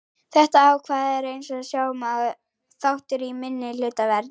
Þetta ákvæði er eins og sjá má þáttur í minnihlutavernd.